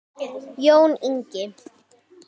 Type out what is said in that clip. Jón Ingi.